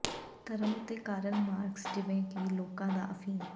ਧਰਮ ਉੱਤੇ Karl Marx ਜਿਵੇਂ ਕਿ ਲੋਕਾਂ ਦਾ ਅਫੀਮ